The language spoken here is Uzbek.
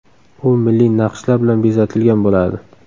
U milliy naqshlar bilan bezatilgan bo‘ladi.